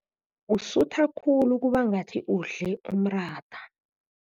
Usutha khulu kubangathi udle umratha.